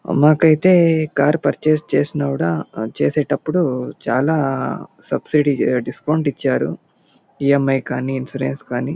అ మాకైతే car purchase చేసినపుడు చేసేటప్పుడు చాలా సబ్సీడీ డిస్కౌంట్ ఇచ్చారు ఇ _ఎం _ఐ కానీ ఇన్సూరెన్స్ కానీ --